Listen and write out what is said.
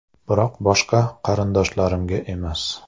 Biroq boshqa qarindoshlarimga emas.